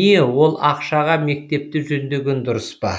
не ол ақшаға мектепті жөндеген дұрыс па